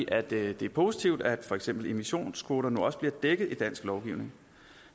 at det er positivt at for eksempel emissionskvoter nu også bliver dækket i dansk lovgivning